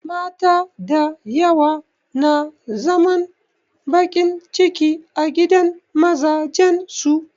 Mata dayawa na zaman baƙin ciki a gidan mazajen su